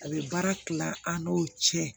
A bɛ baara kila an n'o cɛ